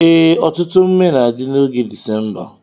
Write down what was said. Ee, ọtụtụ emume na-adi n'oge December.